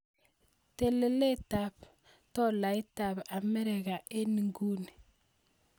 Teleletap tolaitap Amerika eng' inguni